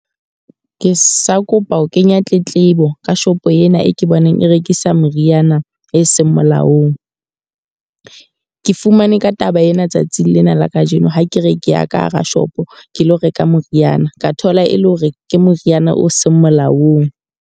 Ke sa kopa ho kenya tletlebo ka shopo ena e ke bonang e rekisa meriana e seng molaong. Ke fumane ka taba ena tsatsing lena la kajeno ha ke re ke ya ka hara shopo ke lo reka moriana. Ka thola e le hore ke moriana o seng molaong.